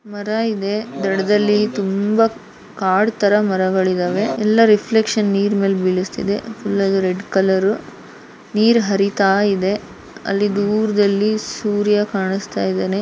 ಮರ ಇದೆ ದಡದಲ್ಲಿ ತುಂಬಾ ಕಾಡ್ ತರ ಮರಗಳಿದಾವೆ ಎಲ್ಲ ರಿಫ್ಲೆಕ್ಷನ್ ನೀರ್ ಮೇಲ್ ಬೀಳುಸ್ತಿದೆ ಫುಲ್ ಎಲ್ಲ ರೆಡ್ ಕಲರ್ ನೀರ್ ಹರಿಯಿತಾಯಿದೆ ಅಲ್ಲಿ ದೂರ್ದಲ್ಲಿ ಸೂರ್ಯ ಕಾಣುಸ್ತಾ ಇದ್ದಾನೆ --